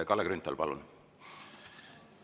Kalle Grünthal, palun!